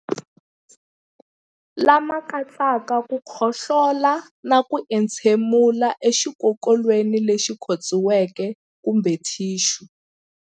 Lama katsaka ku khohlola na ku entshemulela exikokolweni lexi khotsiweke kumbe thixu.